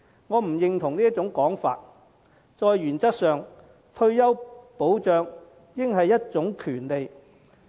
我不認同這種說法，因為退休保障原則上應是一種權利。